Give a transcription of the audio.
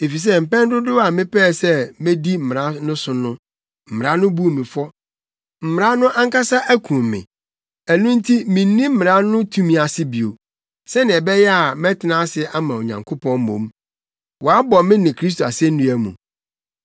“Efisɛ mpɛn dodow a mepɛɛ sɛ medi mmara no so no, mmara no buu me fɔ. Mmara no ankasa akum me. Ɛno nti minni mmara no tumi ase bio, sɛnea ɛbɛyɛ a mɛtena ase ama Onyankopɔn mmom. Wɔabɔ me ne Kristo asennua mu,